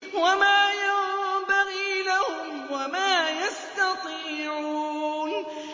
وَمَا يَنبَغِي لَهُمْ وَمَا يَسْتَطِيعُونَ